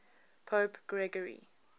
pope gregory